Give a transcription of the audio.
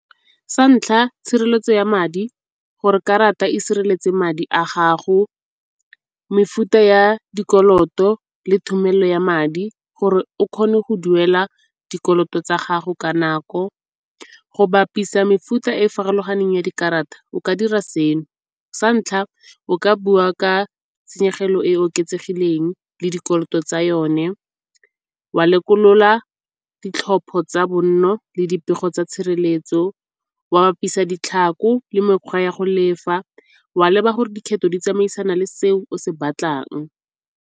Sa ntlha, tshireletso ya madi gore karata e sireletse madi a gago. Mefuta ya dikoloto le thomelo ya madi gore o kgone go duela dikoloto tsa gago ka nako. Go bapisa mefuta e farologaneng ya dikarata o ka dira se no, sa ntlha o ka bua ka tshenyegelo e oketsegileng le dikoloto tsa yone, wa lekolola ditlhopho tsa bonno le dipego tsa tshireletso, wa bapisa ditlhako le mekgwa ya go lefa, wa leba gore dikgetho di tsamaisana le se o se batlang.